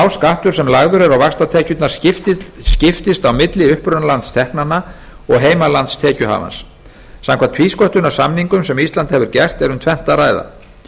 skattur sem lagður er á vaxtatekjurnar skiptist á milli upprunalands teknanna og heimalands tekjuhafans samkvæmt tvísköttunarsamningum sem ísland hefur gert er um tvennt að ræða